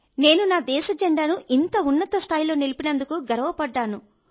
నేను నా దేశ జెండాను ఇంత ఉన్నత స్థాయిలో నిలిపినందుకు గర్వపడ్డాను